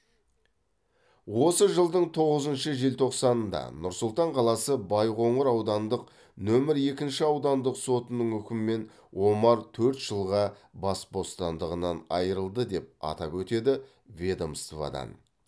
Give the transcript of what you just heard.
осы жылдың тоғызыншы желтоқсанында нұр сұлтан қаласы байқоңыр аудандық нөмір екінші аудандық сотының үкімімен омар төрт жылға бас бостандығынан айырылды деп атап өтеді ведомстводан